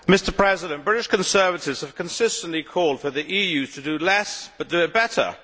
Mr President, British Conservatives have consistently called for the EU to do less, but do it better.